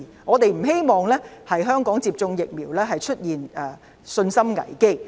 我們不希望香港出現對於接種疫苗的信心危機。